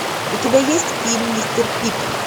у тебя есть фильм мистер пип